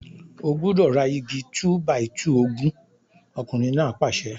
O gbúdọ̀ ra igi 2-by-2 ogún! ọkùnrin náà pàṣẹ.